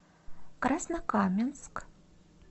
краснокаменск